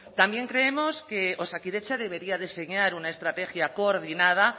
también creemos que osakidetza debería de enseñar una estrategia coordinada